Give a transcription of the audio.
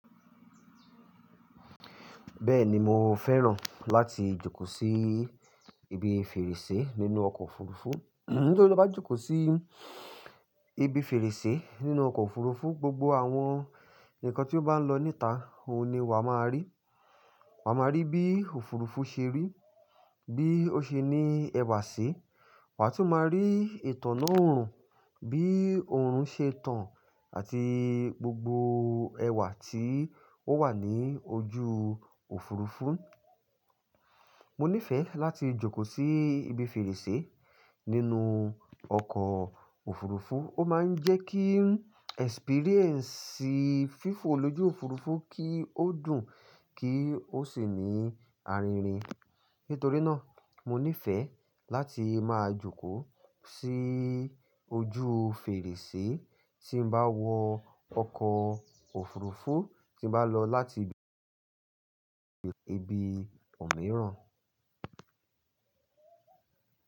Bẹ́ẹ̀ni mo fẹ́ràn láti jókòó sí ibi fèrèsé nínú ọkọ̀ òfurufú, nitorí bí o bá jókòó sí ibi fèrèsé nínú ọkọ̀ òfurufú, gbogbo àwọn ǹnkan tí ó bá ń lọ níta, òhun ni wa máa rí. Wa máa rí bí òfurufú ṣe rí, bí ó ṣe ní ẹwà sí, wa tún máa rí ìtàn náà bí oorun ṣe tán àti gbogbo ẹwà tí ó wà ní ojú òfurufú. Mo nífẹ̀ẹ́ láti jókòó sí ibi fèrèsé nínú ọkọ̀ òfurufú, ó máa ń jẹ́ kí experience fífò lójú òfurufú kí ó dùn, kí ó sì ní arínrìn. Nítorí náà mo nífẹ̀ẹ́ láti máa jókòó sí ojú fèrèsé tí n bá wọ ọkọ̀ òfurufú tí n bá lọ láti ibi ibi òmíràn.